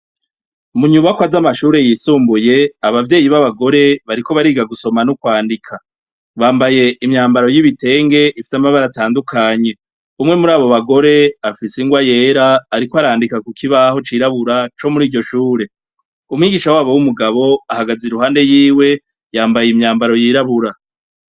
Munyubako az'amashure yisumbuye abavyeyi b'abagore bariko bariga gusoma n'ukwandika bambaye imyambaro y'ibitenge ifita amabara atandukanye umwe muri abo bagore afise ingoa yera, ariko arandika ku kibaho cirabura co muri iryo shure umwigisha wabo w'umugabo ahagaze i ruhande yiwe yambaye imyamba baro yirabura.